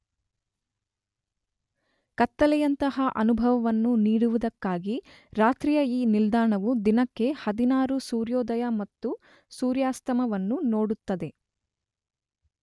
ಕತ್ತಲೆಯಂತಹ ಅನುಭವವನ್ನು ನೀಡುವುದಕ್ಕಾಗಿ ರಾತ್ರಿಯ ಈ ನಿಲ್ದಾಣವು ದಿನಕ್ಕೆ 16 ಸೂರ್ಯೋದಯ ಮತ್ತು ಸೂರ್ಯಾಸ್ತಮವನ್ನು ನೋಡುತ್ತದೆ.